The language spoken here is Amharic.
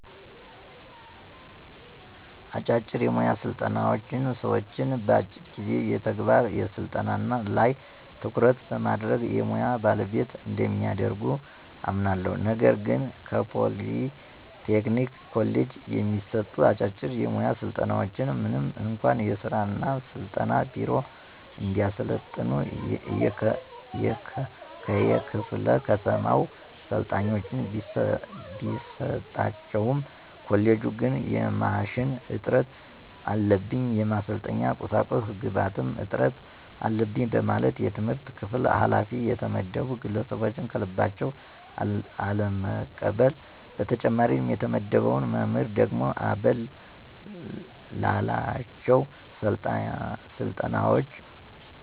አጫጭር የሙያ ስልጠናዎች ሰዎችን በአጭር ጊዜ የተግባር ስልጠና ላይ ትኩረት በማድረግ የሙያ ባለቤት እንደሚያደርጉ አምናለሁ። ነገር ግን ከፖሊ ቴክኒክ ኮሌጅ የሚሰጡ አጫጭር የሙያ ስልጠናዎች ምንም እንኳ የሥራ እና ስልጠና ቢሮ እንዲያሰለጥኑ ከየክፋለ ከተማው ሰልጣኞችን ቢሰጣቸውም ኮሌጁ ግን የማሽን እጥረት አለብኝ፣ የማሰልጠኛ ቁሳቁስ ግብአት እጥረት አለበኝ በማለት የትምህርት ክፍል ኋላፊ የተመደቡ ግለሰቦች ከልባቸው አለመቀበል። በተጨማሪም የተመደበው መምህር ደግሞ አበል ላላቸው ስልጠናዎች